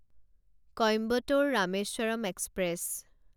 Coimbatore Rameswaram express